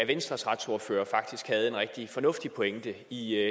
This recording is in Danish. venstres retsordfører faktisk havde en rigtig fornuftig pointe i